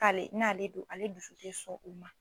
N'ale n'ale don ale dusu ti sɔn o ma